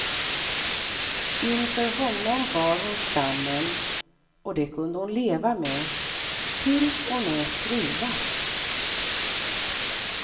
Inför honom bar hon skammen och det kunde hon leva med, till och med trivas.